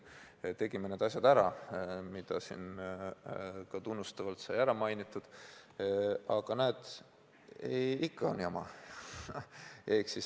Me tegime need asjad ära, mida siin tunnustavalt sai mainitud, aga näed, ikka on jama.